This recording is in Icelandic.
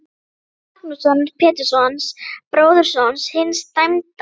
Ólaf Magnússon, Péturssonar, bróðurson hins dæmda.